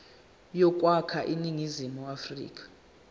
yokwakha iningizimu afrika